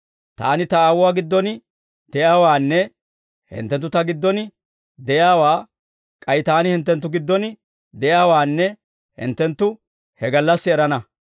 Taani Ta Aawuwaa giddon de'iyaawaanne hinttenttu Ta giddon de'iyaawaa, k'ay Taani hinttenttu giddon de'iyaawaanne hinttenttu he gallassi erana.